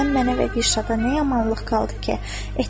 Sən mənə və Dilşada nə yamanlıq qaldı ki, etmədin?